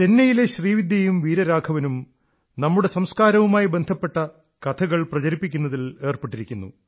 ചെന്നൈയിലെ ശ്രീവിദ്യയും വീരരാഘവനും നമ്മുടെ സംസ്കാരവുമായി ബന്ധപ്പെട്ട കഥകൾ പ്രചരിപ്പിക്കുന്നതിൽ ഏർപ്പെട്ടിരിക്കുന്നു